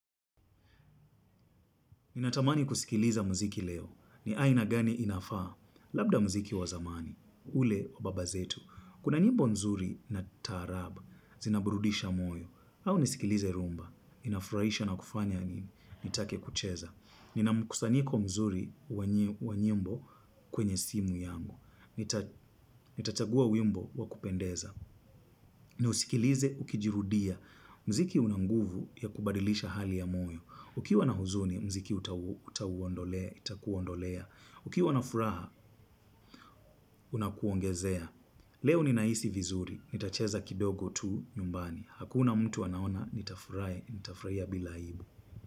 Ninatamani kusikiliza mziki leo. Ni aina gani inafaa? Labda mziki wazamani. Ule wababazetu. Kuna nyimbo nzuri na taraba. Zinaburudisha moyo. Au nisikilize rumba. Inafuraisha na kufanya ni take kucheza. Nina mkusanyiko mzuri wanyimbo kwenye simu yangu. Nitachagua wimbo wakupendeza. Niusikilize ukijirudia. Mziki una nguvu ya kubadilisha hali ya moyo. Ukiwa na huzuni, mziki utawuondolea, itakuondolea. Ukiwa na furaha, unakuongezea. Leo ni naisi vizuri. Nitacheza kidogo tu nyumbani. Hakuna mtu anaona, nitafurahi, nita furahia bila aibu.-